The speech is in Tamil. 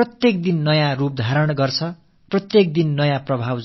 புதிய புதிய வடிவங்களை எடுக்கிறது புதிய புதிய தாக்கங்களை ஏற்படுத்துகிறது மாற்றங்களைத் தொடர்ந்து கண்டு வருகிறது